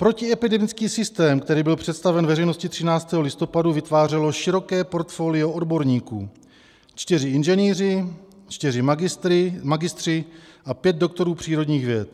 Protiepidemický systém, který byl představen veřejnosti 13. listopadu, vytvářelo široké portfolio odborníků: čtyři inženýři, čtyři magistři a pět doktorů přírodních věd.